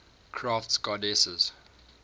crafts goddesses